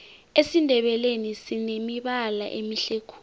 esindebeleni sinemibala emihle khulu